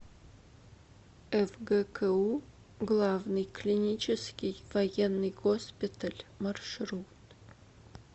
фгку главный клинический военный госпиталь маршрут